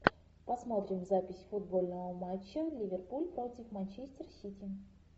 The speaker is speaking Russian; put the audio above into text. посмотрим запись футбольного матча ливерпуль против манчестер сити